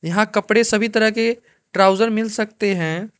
यहां कपड़े सभी तरह के ट्राउजर मिल सकते हैं।